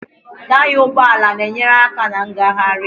Taya ụgbọala na-enyere aka na ngagharị